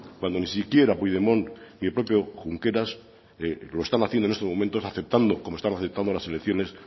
cuando ni siquiera puigdemont y el propio junqueras lo están haciendo en estos momentos afectando como están afectando las elecciones